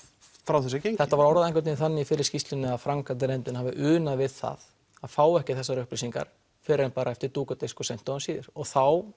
frá þessu er gengið þetta var orðað einhvern veginn þannig í fyrri skýrslunni að framkvæmdarnefndin hafi unað við það að fá ekki þessar upplýsingar fyrr en bara eftir dúk og disk og um seint og síðir þá